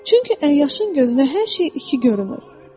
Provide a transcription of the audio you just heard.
Çünki əyyaşın gözünə hər şey iki görünür.